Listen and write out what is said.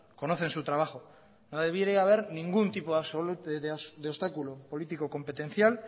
conocen su trabajo no debiera de haber ningún tipo de obstáculo político competencial